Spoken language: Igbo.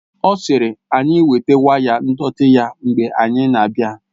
Ọ sịrị anyị weta waya ndọtị ya mgbe anyị na-abịa